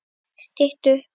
Stytt upp